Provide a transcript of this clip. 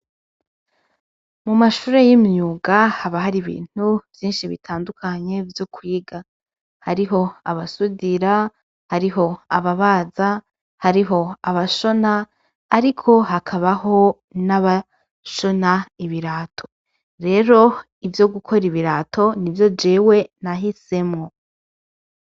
Mumashure y'imyuga haba hari ibintu vyishi bitandukanye vyo kwiga. Hariho abasudira, hariho ababaza, hariho abashona ariko hakabaho n'abashona ibirato. Rero ivyo gukora ibirato nivyo jewe nahisemwo.